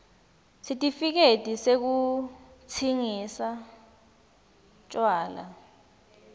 sitifiketi sekutsingisa tjwala